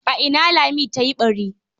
A ina Lami ta yi ɓari?